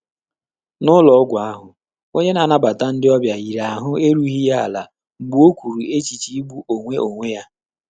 N’ụ́lọ́ọ́gwụ́ áhụ́, ọ́nyé nà-ànàbàtà ndị́ ọ́bị̀à yìrì áhụ́ érúghị́ yá álá mgbè ọ́ kwùrù échíché ígbú ónwé ónwé yá.